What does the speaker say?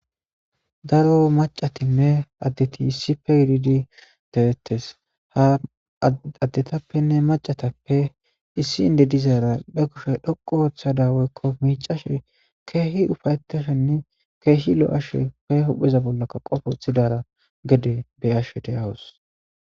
Daro maccatinne addeti issippe gididi de'etees; ha addetapenne maccatape issi indde dizara be kushe dhoqqu ooththada woykko miccashe keehi ufa'etashenne keehi lo'ashe be hupheza bolla qobe woththidara gede be'ashe de'awus.